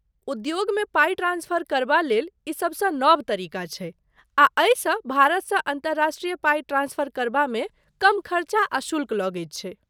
उद्योगमे पाइ ट्रांस्फर करबा लेल ई सभसँ नव तरीका छै, आ एहिसँ भारतसँ अन्तर्राष्ट्रीय पाइ ट्रांस्फर करबामे कम खर्चा आ शुल्क लगैत छै।